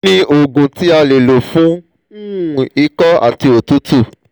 kí ni oògùn tí a lè lò fún um iko àti òtútù?